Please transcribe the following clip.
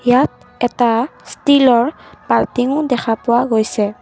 ইয়াত এটা ষ্টিলৰ বাল্টিংও দেখা পোৱা গৈছে।